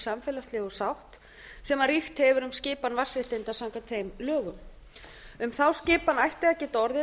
samfélagslegu sátt sem ríkt hefur um skipan vatnsréttinda samkvæmt þeim lögum um þá skipan ætti að geta orðið